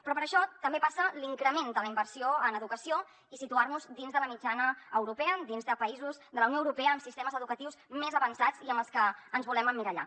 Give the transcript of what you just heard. però per això també passa l’increment de la inversió en educació i si·tuar·nos dins de la mitjana europea dins de països de la unió europea amb siste·mes educatius més avançats i en els que ens volem emmirallar